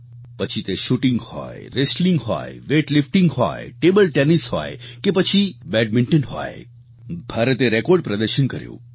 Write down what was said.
પછી તે શૂટિંગ હોય રેસ્ટલિંગ હોય વેઇટલિફ્ટિંગ હોય ટેબલ ટેનિસ હોય કે પછી બેડમિન્ટન હોય ભારતે રેકોર્ડ પ્રદર્શન કર્યું